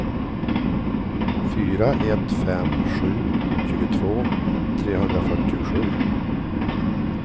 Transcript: fyra ett fem sju tjugotvå trehundrafyrtiosju